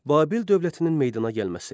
Babil dövlətinin meydana gəlməsi.